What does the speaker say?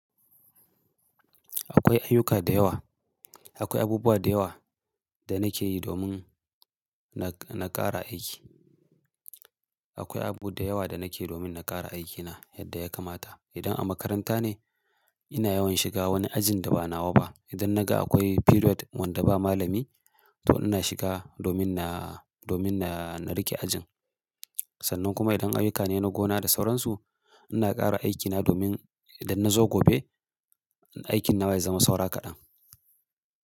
Akwai ayyuka da yawa, akwai abubuwa da yawa da nake yi domin na, na ƙara aiki. Akwai abu da yawa da nake domin na ƙara aikina yadda ya kamata. Idan a makaranta ne, ina yawan shiga wani ajin da ba na wa ba. Idan na ga akwai period wanda ba malami, to ina shiga domin na, domin na, na riƙe ajin. Sannan kuma idan ayyuka ne na gona da sauransu, ina ƙara aikina domin idan na zo gobe, aikin na bai zama saura kaɗan.